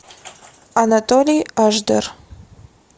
анатолий ашдер